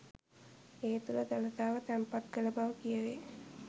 ඒ තුළ දළදාව තැන්පත් කළ බව කියැවේ